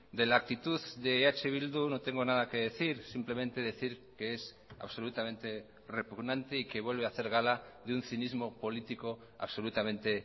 de la actitud de eh bildu no tengo nada que decir simplemente decir que es absolutamente repugnante y que vuelve a hacer gala de un cinismo político absolutamente